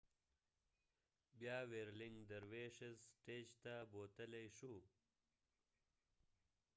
بیا ويرلنګ درویشس سټیج ته بوتلي شو